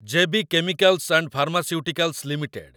J B chemicals and pharmaceuticals limited